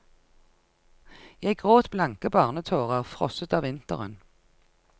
Jeg gråt blanke barnetårer, frosset av vinteren.